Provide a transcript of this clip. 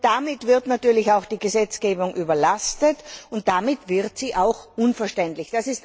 Damit wird natürlich auch die Gesetzgebung überlastet, und damit wird sie auch unverständlich.